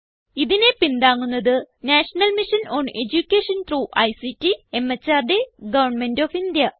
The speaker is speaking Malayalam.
ഇതിനെ പിന്താങ്ങുന്നത് national mission on education through ICT MHRD government of India